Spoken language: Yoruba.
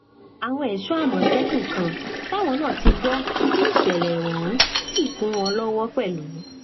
àwọn ẹṣọ àmọtẹkùn kan táwọn náà ti gbọ síṣẹlẹ ọhún sì kún wọn lọwọ pẹlú